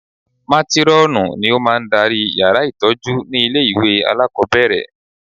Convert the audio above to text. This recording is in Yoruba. Mátírọ́ọ̀nù ni ó máa ń darí yàrá ìtọ́jú ní ilé ìwé alákọ̀ọ́bẹ̀rẹ̀